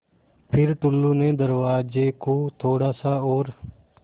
फ़िर टुल्लु ने दरवाज़े को थोड़ा सा और